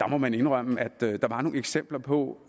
må man indrømme nogle eksempler på